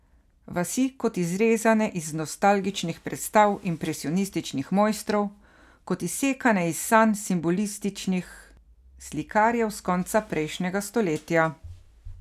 Vasi kot izrezane iz nostalgičnih predstav impresionističnih mojstrov, kot izsekane iz sanj simbolističnih slikarjev s konca prejšnjega stoletja.